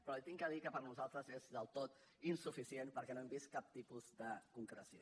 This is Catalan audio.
però li he de dir que per nosaltres és del tot insuficient perquè no hem vist cap tipus de concreció